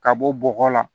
Ka bɔ bɔgɔ la